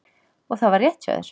Og það var rétt hjá þér.